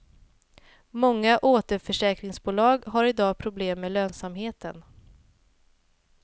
Många återförsäkringsbolag har i dag problem med lönsamheten.